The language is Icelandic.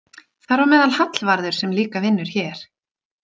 Þar á meðal Hallvarður sem líka vinnur hér.